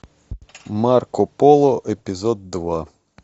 марко поло эпизод два